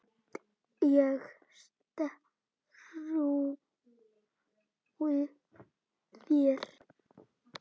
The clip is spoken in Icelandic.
Ég trúi þér